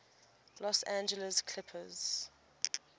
los angeles clippers